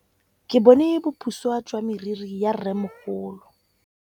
Ke bone boputswa jwa meriri ya rrêmogolo.